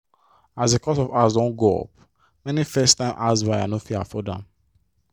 as the cost of house don go up many first time house buyer no fit afford am.